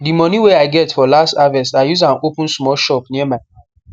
de moni wey i get for last harvest i use am open small shop near my house